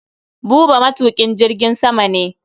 Buba matuƙin jirgin sama ne.